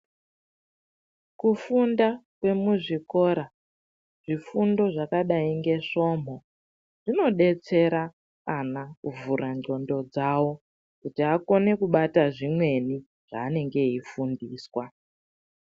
Kufunda kwemuzvikora zvifundo zvakadai ngeSvomho, zvinodetsera ana kuvhura ndxondo dzavo kuti akone kubata zvimweni zvaanenge eifundiswa.